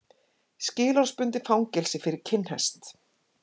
Skilorðsbundið fangelsi fyrir kinnhest